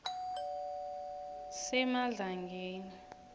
semadlangeni